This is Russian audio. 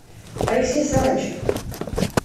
алексей сарычев